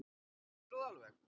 Geturðu það alveg?